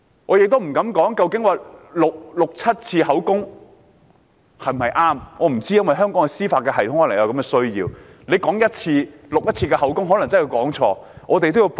我不敢說錄取六七次口供是否正確，也許在香港的司法制度下有此需要，因為恐怕只錄取1次口供可能會有錯漏。